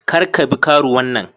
Kar ka bi karuwan nan.